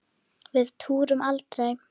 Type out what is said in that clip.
Við túrum aldrei!